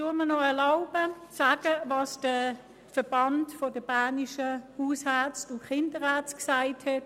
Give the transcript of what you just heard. Ich erlaube mir noch zu sagen, was der Verband Berner Haus- und Kinderärzte/innen gesagt hat: